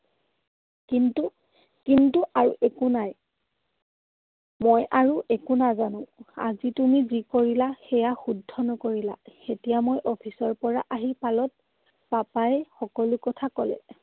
কিন্তু কিন্তু আৰু একো নাই। মই আৰু একো নাজানো। আজি তুমি যি কৰিলা সেইয়া শুদ্ধ নকৰিলা। এতিয়া মই office ৰ পৰা আহি পালত papa য়ে সকলো কথা কলে।